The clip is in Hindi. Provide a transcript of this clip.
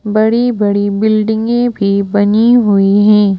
बड़ी बड़ी बिल्डिंगे भी बनी हुईं हैं।